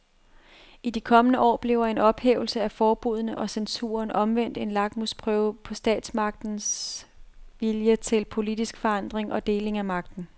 I de kommende år bliver en ophævelse af forbuddene og censuren omvendt en lakmusprøve på statsmagterne vilje til politisk forandring og deling af magten.